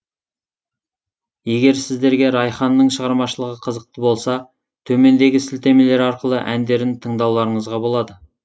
егер сіздерге райхананың шығармашылығы қызықты болса төмендегі сілтемелер арқылы әндерін тыңдауларыңызға болады